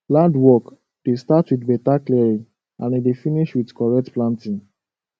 land work dey start with better clearing and e dey finish with correct planting